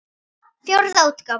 Fjórða útgáfa.